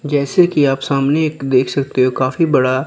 जैसे कि आप सामने एक देख सकते हो काफी बड़ा--